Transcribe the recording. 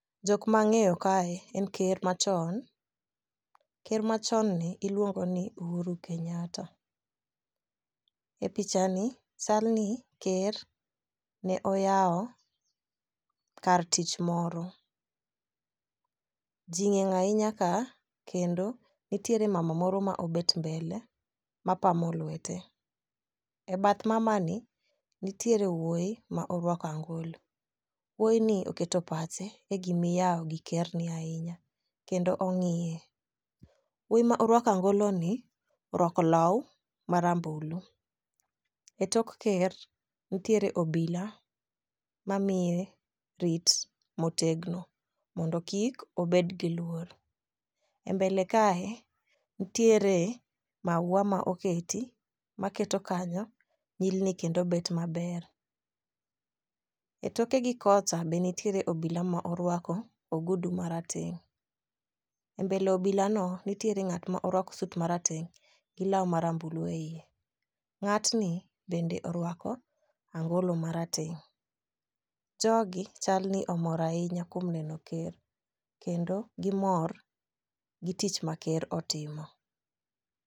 Jok mang'eyo kae en ker machon ,ker machonni iluongo ni Uhuru Kenyatta. E picha ni chalni ker ne oyawo kar tich moro . Ji ng'eny ahinya ka kendo nitiere mama moro ma obet mbele mapamo lwete,e bath mama ni nitiere wuoyi ma orwako angolo, wuoyini oketo pache e gimiyawo gi kerni ahinya kendo ong'iye. wuoyi ma orwako angoloni orwako law marambulu,e tok ker nitiere obila mamiye rit motegno mondo kik obed gi luor. E mbele kae nitiere mauwa ma oketi maketo kanyo nyilni kendo bet maber. E toke gikocha be nitiere obila ma orwako ogudu marateng',e mbele obilano, nitiere ng'at ma orwako sut marateng' gi law marambulu e iye, ng'atni bende orwako angolo marateng'. Jogi chalni omor ahinya kuom neno ker kendo gimor gi tich ma ker otimo.